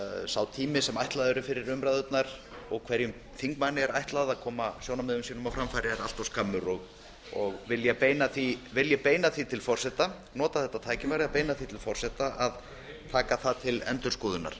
sá tími sem ætlaður er fyrir umræðurnar og hverjum þingmanni er ætlað að koma sjónarmiðum sínum á framfæri er allt skammur vil ég beina því til forseta að taka það til endurskoðunar